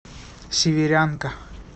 северянка